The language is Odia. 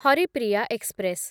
ହରିପ୍ରିୟା ଏକ୍ସପ୍ରେସ୍